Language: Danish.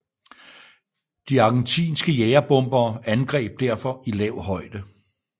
De argentinske jagerbombere angreb derfor i lav højde